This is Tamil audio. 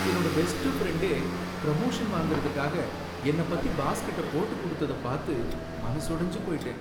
என்னோட பெஸ்ட் ஃப்ரெண்ட்டே பிரமோஷன் வாங்கறதுக்காக என்ன பத்தி பாஸ்கிட்ட போட்டு கொடுத்தத பாத்து மனசொடைஞ்சு போயிட்டேன்.